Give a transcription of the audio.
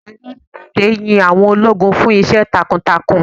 Ààrẹ orílè èdè yín àwọn ológun fún Iṣẹ́ takuntakun.